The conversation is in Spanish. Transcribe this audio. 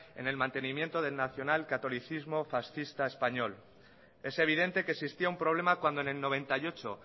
en el mantenimiento del nacional catolicismo fascista español es evidente que existía un problema cuando en el noventa y ocho